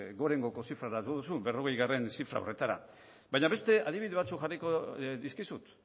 gorengoko zifrara jo duzun berrogeigarrena zifra horretara baina beste adibide batzuk jarriko dizkizut